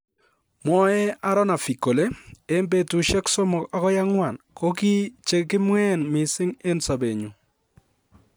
Mwae Aaronovitch kole, "En betusiek somok agoi angwan kokichekimween mising en sobenyun,"